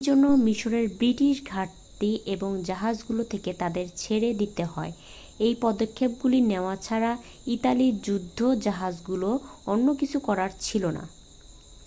সেই জন্য মিশরের ব্রিটিশ ঘাঁটি ও জাহাজগুলো থেকে তাদের ছেড়ে দিতে হয় এই পদক্ষেপগুলি নেওয়া ছাড়া ইতালির যুদ্ধজাহাজগুলোর অন্য কিছু করার ছিল না